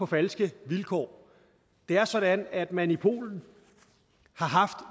falske vilkår det er sådan at man i polen